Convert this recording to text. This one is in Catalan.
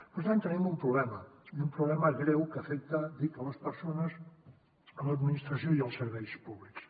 per tant tenim un problema i un problema greu que afecta dic les persones l’administració i els serveis públics